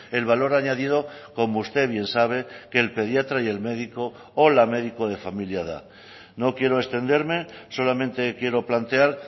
el valor añadido como usted bien sabe que el pediatra y el médico o la médico de familia da no quiero extenderme solamente quiero plantear